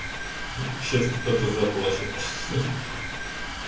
сейчас кто-то заплачет